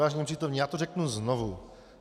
Vážení přítomní, já to řeknu znovu.